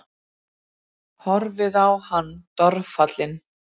Horfir á hann dolfallin.